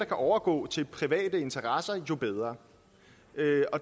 kan overgå til private interesser jo bedre